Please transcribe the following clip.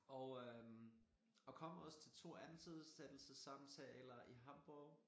Og øh og kom også til 2 ansættelsessamtaler i Hamborg